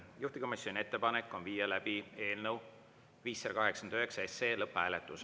Juhtivkomisjoni ettepanek on viia läbi eelnõu 589 lõpphääletus.